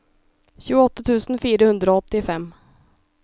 tjueåtte tusen fire hundre og åttifem